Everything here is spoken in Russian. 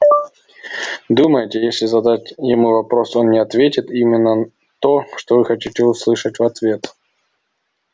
думаете если задать ему вопрос он не ответит именно то что вы хотите услышать в ответ